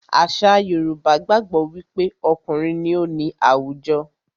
Àṣà Yorùbá gbàgbó wí pé okùnrin ní o ní àwùjọ.